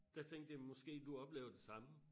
Dér tænkte jeg måske du oplever det samme